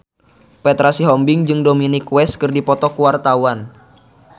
Petra Sihombing jeung Dominic West keur dipoto ku wartawan